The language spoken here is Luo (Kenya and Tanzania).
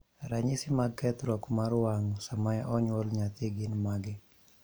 ranyisi mag kethruok mar wang' sama onyuol nyathi gin mage?